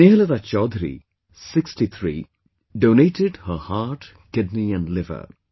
Snehlata Chowdhary, 63, donated her heart, kidney and liver